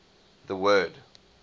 the word